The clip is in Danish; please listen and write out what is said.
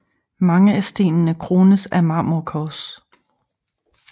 Mange af stenene krones af marmorkors